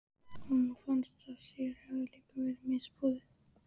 Honum fannst að sér hefði líka verið misboðið.